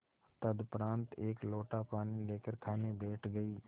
तदुपरांत एक लोटा पानी लेकर खाने बैठ गई